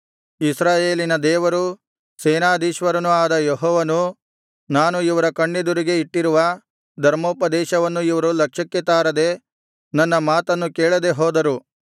ಇಸ್ರಾಯೇಲಿನ ದೇವರೂ ಸೇನಾಧೀಶ್ವರನೂ ಆದ ಯೆಹೋವನು ನಾನು ಇವರ ಕಣ್ಣೆದುರಿಗೇ ಇಟ್ಟಿರುವ ಧರ್ಮೋಪದೇಶವನ್ನು ಇವರು ಲಕ್ಷ್ಯಕ್ಕೆ ತಾರದೆ ನನ್ನ ಮಾತನ್ನು ಕೇಳದೆ ಹೋದರು